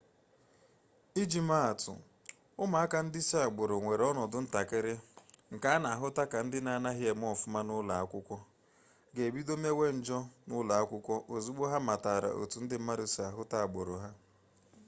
iji maa atụ ụmụaka ndị si agbụrụ nwere ọnọdụ ntakịrị nke a na-ahụta ka ndị na-anaghị eme nke ọma n'ụlọ akwụkwọ ga-ebido mewe njọ n'ụlọ akwụkwọ ozugbo ha matara otu ndị mmadụ si ahụta agbụrụ ha